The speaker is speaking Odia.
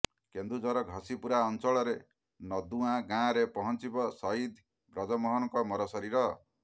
କେନ୍ଦୁଝର ଘସିପୁରା ଅଂଚଳର ନଦୁଆଁ ଗାଁରେ ପହଁଚିବ ସହିଦ୍ ବ୍ରଜମୋହନଙ୍କ ମରଶରୀର